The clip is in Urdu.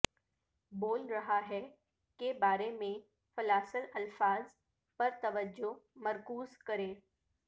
بول رہا ہے کے بارے میں فلاسل الفاظ پر توجہ مرکوز کریں